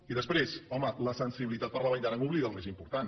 i després home la sensibilitat per la vall d’aran oblida el més important